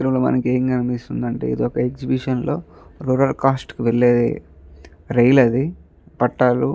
ఇక్కడ మనకి ఎం కనిపిస్తుంది అంటే ఇది ఒక ఎక్సిబిషన్ లో రోలర్ కాస్ట్ కి వెళ్ళే రైల్ ఆది పట్టాలు --